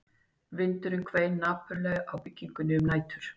Vindurinn hvein napurlega á byggingunni um nætur